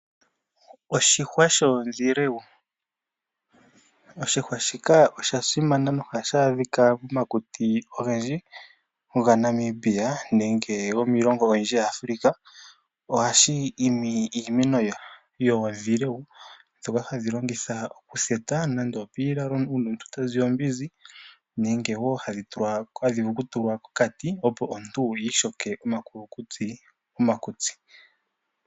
Oshihwa shoondhilewu. Oshihwa shika osha simana nohashi adhika momakuti ogendji gaNamibia nenge gomiilongo oyindji yaAfrika. Ohashi imi iimeno oyindji yoondhilewu dho hadhi longitha okutheta nande opiilalo uuna omuntu ta ziya ombinzi nenge wo hadhi tulwa hadhi vulu okutuwa kokati opo omuntu wiishoke omakulukutsi momakutsi.